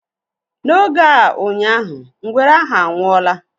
N'oge a ụnyaahụ, ngwere ahu anwụọla